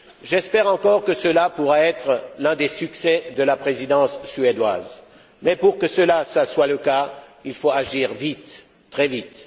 J'espère encore que cela pourra être l'un des succès de la Présidence suédoise, mais pour que cela soit le cas, il faut agir vite, très vite.